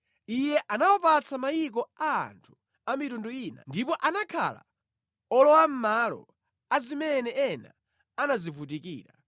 Iye anawapatsa mayiko a anthu a mitundu ina ndipo anakhala olowamʼmalo a zimene ena anazivutikira,